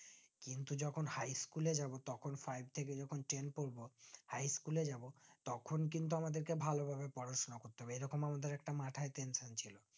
কিন্তু যখন high school এ যাবো তখন five থেকে যেকোন ten পড়বো high school এ যাবো তখন কিন্তু আমাদের কে ভালো ভাবে পড়াশোনা করতে হবে এই রকম ধরে একটা মাথায় tension ছিল